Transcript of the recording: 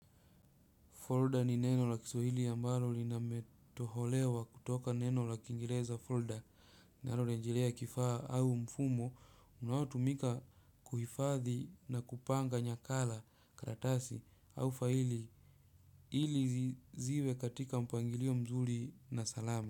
Folda ni neno la Kiswahili ambalo limetoholewa kutoka neno la Kiingereza "folder", na linarejelea kifaa au mfumo. Unaotumika kuhifadhi na kupanga nakala, karatasi au faili ili ziwe katika mpangilio mzuri na salama.